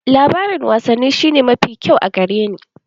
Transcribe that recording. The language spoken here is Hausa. Labarin wasanni shi ne mafi kyau a gare ni.